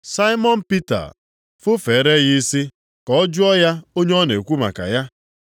Saimọn Pita fufeere ya isi, ka ọ, Jụọ ya onye ọ na-ekwu maka ya.